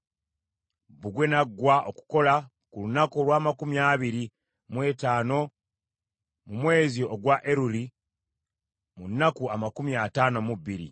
Bbugwe n’aggwa okukola ku lunaku olw’amakumi abiri mu etaano mu mwezi ogwa Eruli, mu nnaku amakumi ataano mu bbiri.